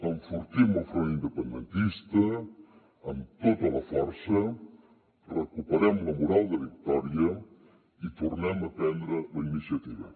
enfortim el front independentista amb tota la força recuperem la moral de victòria i tornem a prendre la iniciativa